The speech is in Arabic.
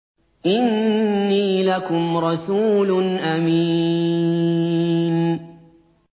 إِنِّي لَكُمْ رَسُولٌ أَمِينٌ